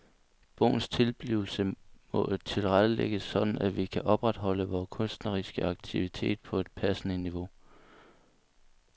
Bogens tilblivelse må tilrettelægges sådan at vi kan opretholde vores kunstneriske aktivitet på et passende niveau.